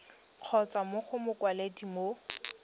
kgotsa mo go mokwaledi mo